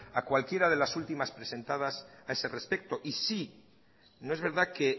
a cualquiera de las últimas presentadas a ese respecto y sí no es verdad que